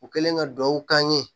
U kɛlen ka duwawu k'an ye